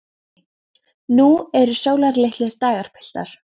Björn mælti: Nú eru sólarlitlir dagar, piltar!